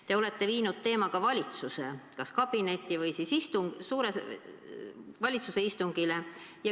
Te olete viinud teema ka valitsuse istungile.